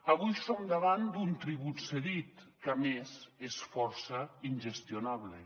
avui som davant d’un tribut cedit que a més és força ingestionable